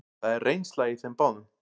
Það er reynsla í þeim báðum.